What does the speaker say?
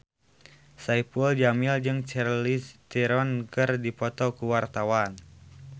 Saipul Jamil jeung Charlize Theron keur dipoto ku wartawan